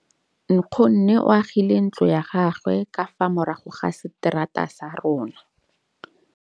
Nkgonne o agile ntlo ya gagwe ka fa morago ga seterata sa rona.